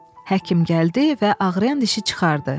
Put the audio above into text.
Həkim gəldi və ağrıyan dişi çıxardı.